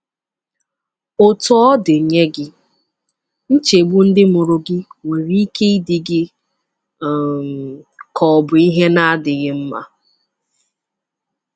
Otú ọ dị, nye gị, nchegbu ndị mụrụ gị nwere ike ịdị gị um ka ọ bụ ihe na-adịghị mma.